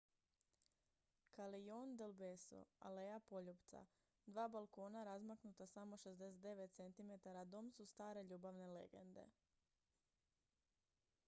callejon del beso aleja poljupca. dva balkona razmaknuta samo 69 centimetara dom su stare ljubavne legende